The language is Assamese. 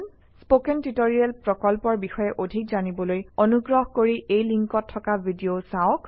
স্পকেন টিউটৰিয়েল প্ৰকল্পৰ বিষয়ে অধিক জানিবলৈ অনুগ্ৰহ কৰি এই লিংকত থকা ভিডিঅ চাওক